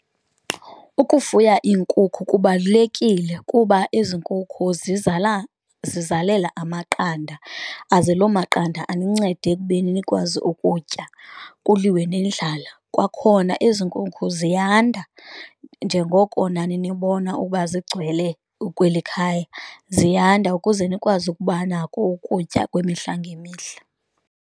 Ukufuya iinkukhu kubalulekile kuba ezi nkukhu zizala zizalela amaqanda aze lo maqanda anincede ekubeni nikwazi ukutya kuliwe nendlala. Kwakhona ezi nkukhu ziyanda njengoko nani nibona ukuba zigcwele kweli khaya, ziyanda ukuze nikwazi ukuba nako ukutya kwemihla ngemihla.